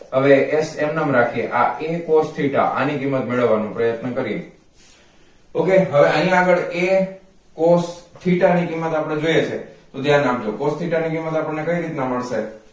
હવે s એમનેમ રાખીએ આ a cos theta આની કિંમત મેળવવા નો પ્રયત્ન કરીએ ok હવે આની આગળ a cos theta ની કિંમત આપણે જોઈએ છે તો ધ્યાન આપજો cos theta ની કિંમત આપણને કઈ રીતનાં મળશે